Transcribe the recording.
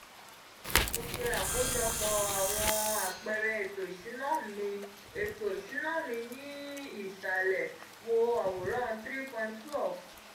mo se akojopo awon apeere eto isuna mi eto isuna mi ni isale wo aworan three point twelve